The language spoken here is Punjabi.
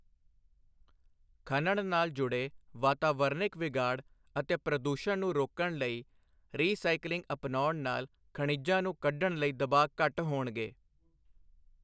ਖਣਣ ਨਾਲ ਜੁੜੇ ਵਾਤਾਵਰਨਿਕ ਵਿਗਾੜ ਅਤੇ ਪ੍ਰਦੂਸ਼ਨ ਨੂੰ ਰੋਕਣ ਲਈ ਰੀਸਾਇਕਲਿੰਗ ਅਪਣਾਉਣ ਨਾਲ ਖਣਿਜਾਂ ਨੂੰ ਕੱਢਣ ਲਈ ਦਬਾਅ ਘੱਟ ਹੋਣਗੇ।